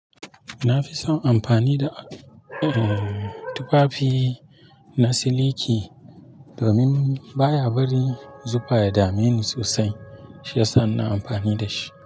Na fi son amfani da, uh, tufafi na siliki domin baya bari zufa ya dameni sosai shiyasa ina amfani da shi.